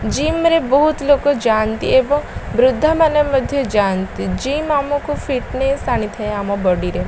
Gym ରେ ବୋହୁତ୍ ଲୋକ ଯାଆନ୍ତି ଏବଂ ବୃଦ୍ଧମାନେ ମଧ୍ୟ ଯାଆନ୍ତି। ଜିମ ଆମକୁ ଫିଟନେସ୍ ଆଣି ଥାଏ ଆମ ବଡ଼ି ରେ।